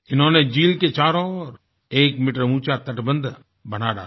इन्होंने झील के चारों ओर एक मीटर ऊँचा तटबन्ध बना डाला